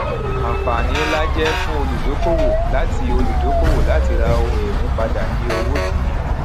àǹfààní ńlá jé fún olùdókòwò láti olùdókòwò láti ra ohun ìní padà ní owó dìn-ín